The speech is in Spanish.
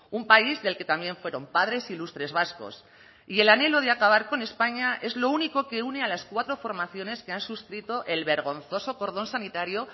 un país del que también fueron padres ilustres vascos y el anhelo de acabar con españa es lo único que une a las cuatro formaciones que han suscrito el vergonzoso cordón sanitario